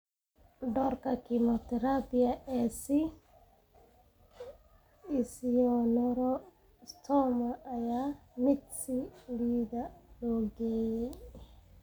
Doorka kiimoterabiga ee esthesioneuroblastoma ayaa ah mid si liidata loo qeexay.